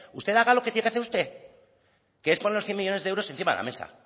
usted haga lo que tiene hacer usted que es poner los cien millónes de euros encima de la mesa